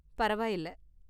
பரவாயில்ல!